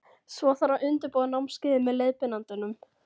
Svo þarf að undirbúa námskeiðið með leiðbeinandanum.